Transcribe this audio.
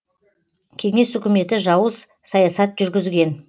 кеңес үкіметі жауыз саясат жүргізген